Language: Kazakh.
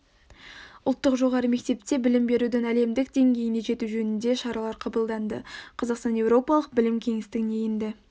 ұлттық жоғары мектепте білім берудің әлемдік деңгейіне жету жөнінде шаралар қабылданды қазақстан еуропалық білім кеңістігіне енді